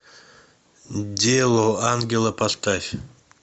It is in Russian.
дело ангела поставь